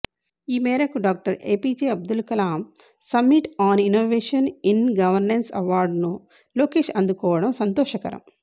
ఈమేరకు doctor APJ Abdul Kalam summit on innovation in governance అవార్డును లోకేష్ అందుకోవటం సంతోషకరం